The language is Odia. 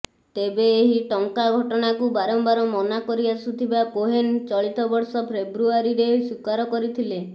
ତେବେ ଏହି ଟଙ୍କା ଘଟଣାକୁ ବାରମ୍ବାର ମନା କରିଆସୁଥିବା କୋହେନ୍ ଚଳିତ ବର୍ଷ ଫ୍ରେବୁଆରୀରେ ସ୍ୱୀକାର କରିଥିଲେ